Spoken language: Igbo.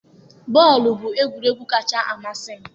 Bọọlụ bụ egwuregwu kacha amasị m